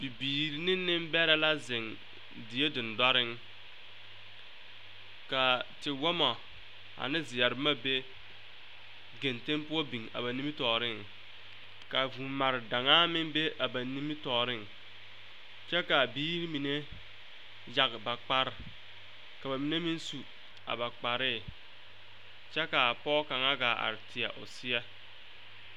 Bibiiri ne neŋbɛrɛ la zeŋ die dendɔreŋ ka tewɔmɔ ane zeɛre boma be geŋteŋ poɔ biŋ a ba nimitɔɔreŋ ka vuumare daŋaa meŋ be a ba nimitɔɔreŋ kyɛ kaa biiri mine yage ba kparre ka ba mine meŋ su a ba kparrii kyɛ ka a pɔɔ kaŋa gaa are a teɛ o seɛ.